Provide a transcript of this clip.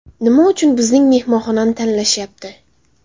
Nima uchun bizning mehmonxonani tanlashyapti?